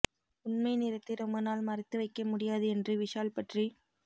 உண்மை நிறத்தை ரொம்ப நாள் மறைத்து வைக்க முடியாது என்று விஷால் பற்றி